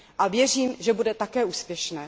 A věřím, že bude také úspěšné.